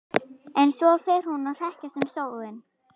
En svo fer hún að hrekjast um sjóinn.